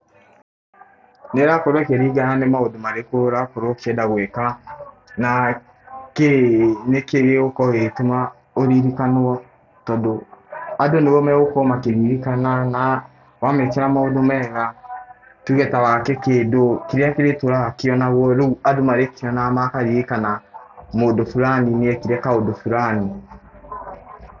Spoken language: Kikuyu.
Nĩĩrakorwo ĩkĩringana nĩ maũndũ marĩkũ ũrakorwo ũkĩenda gwĩka, na kĩĩ nĩkĩĩ gĩgũkorwo gĩgĩtũma ũririkanwo tondũ andũ nĩo magũkorwo makĩririkana na wamekĩra maũndũ mega tuge ta waake kĩndũ, kĩrĩa kĩrĩtũraga kĩonagwo rĩu andũ marĩkĩonaga makaririkana mũndũ fulani nĩekire kaũndũ fulani.